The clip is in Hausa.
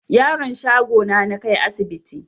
Yaron shago na nakai asibti